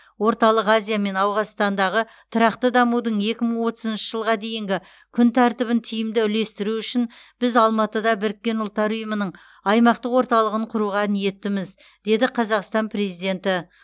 орталық азия мен ауғанстандағы тұрақты дамудың екі мың отызыншы жылға дейінгі күн тәртібін тиімді үйлестіру үшін біз алматыда біріккен ұлттар ұйымының аймақтық орталығын құруға ниеттіміз деді қазақстан президенті